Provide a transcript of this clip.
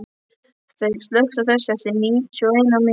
Þeyr, slökktu á þessu eftir níutíu og eina mínútur.